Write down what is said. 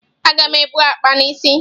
Aga m ebu akpa n'isi.